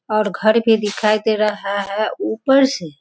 और घर भी दिखाई दे रहा है ऊपर से।